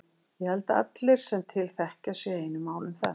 Ég held að allir sem til þekkja séu á einu máli um það.